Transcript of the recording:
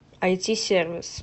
айти сервис